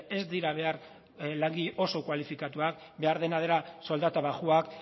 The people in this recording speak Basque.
ez dira behar langile oso kualifikatuak behar dena da soldata baxuak